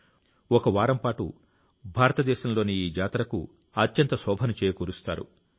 నలుగురు చంద్రుల వెన్నెలలాగా ఈ జాతర అందాలు పొందుతుంది